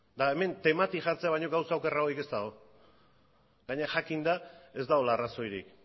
eta hemen temati jartzea baino gauza okerragorik ez dago gainera jakinda ez dagoela arrazoirik